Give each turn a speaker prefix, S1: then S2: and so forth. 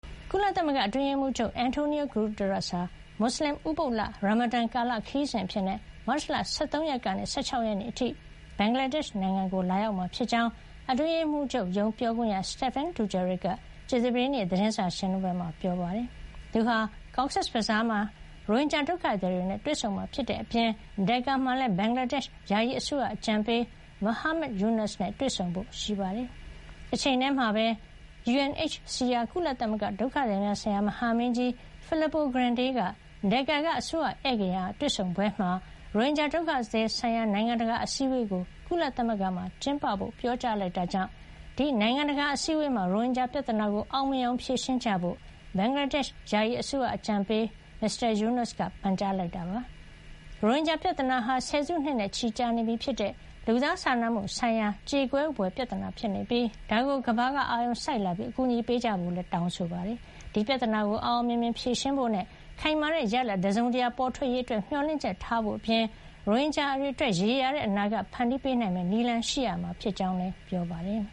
S1: ကုလသမဂ္ဂ အတွင်းရေးမှုးချုပ် António Guterres ဟာ မွတ်စလင်ဥပုသ်လ ရာမဒန်ကာလ ခရီးစဉ်အဖြစ် မတ်လ ၁၃ ရက်ကနေ ၁၆ ရက်အထိ ဘင်္ဂလာဒေ့ရှ်ကို လာရောက်မှာ ဖြစ်ကြောင်း အတွင်းရေးမှူးချုပ်ရုံး ပြောခွင့်ရ Stephane Dujarric က ကြာသပတေးနေ့ သတင်းစာရှင်းလင်းပွဲမှာ ပြောကြားခဲ့ပါတယ်။ သူဟာ Cox’s Bazaar မှာ ရိုဟင်ဂျာဒုက္ခသည်တွေနဲ့ တွေ့ဆုံမှာဖြစ်တဲ့အပြင် ဒက်ကာမှာလည်း ဘင်္ဂလားဒေ့ရှ် ယာယီအစိုးရ အကြံပေး Muhammad Yunus နဲ့ တွေ့ဆုံဖို့ ရှိပါတယ်။ တချိန်တည်းမှာပဲ UNHCR ကုလဒုက္ခသည်များဆိုင်ရာ မဟာမင်းကြီး Filippo Grandi က ဒက်ကာက အစိုးရဧည့်ဂေဟာ တွေ့ဆုံပွဲမှာ ရိုဟင်ဂျာဒုက္ခသည်ဆိုင်ရာ နိုင်ငံတကာအစည်းဝေးကို ကုလသမဂ္ဂမှာ ကျင်းပဖို့ ပြောကြားလိုက်တာကြောင့် ဒီနိုင်ငံတကာ အစည်းဝေးမှာ ရိုဟင်ဂျာ ပြဿနာကို အောင်မြင်အောင် ဖြေရှင်းကြဖို့ ဘင်္ဂလားဒေ့ရှ် ယာယီအစိုးရအဖွဲ့ အကြံပေး Muhammad Yunus က ပန်ကြားလိုက်ပါတယ်။ ရိုဟင်ဂျာပြဿနာဟာ ဆယ်စုနှစ်နဲ့ ချီနေပြီဖြစ်တဲ့ လူသားစာနာမှုဆိုင်ရာ ကြေကွဲဘွယ် ပြဿနာဖြစ်ပြီး ဒါကို ကမ္ဘာက အာရုံစိုက်လာပြီး အကူအညီပေးကြဖို့လည်း တောင်းဆိုခဲ့ပါတယ်။ ဒီပြဿနာကို အောင်အောင်မြင်မြင် ဖြေရှင်းဖို့နဲ့ ခိုင်မာတဲ့ ရလဒ်တစုံတရာ ပေါ်ထွက်လာရေးအတွက် မျှော်လင့်ချက်ထားဖို့အပြင် ရိုဟင်ဂျာတွေအတွက် ရေရာတဲ့ အနာဂတ်ဖန်တီးပေးနိုင်မယ့် နည်းလမ်းရှိရမှာ ဖြစ်
S2: ကြောင်းလည်း ပြောပါတယ်